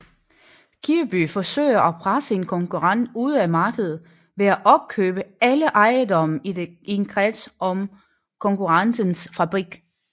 Kirby forsøger at presse en konkurrent ud af markedet ved at opkøbe alle ejendomme i en kreds om konkurrentens fabrik